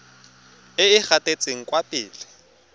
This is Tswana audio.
e e gatetseng kwa pele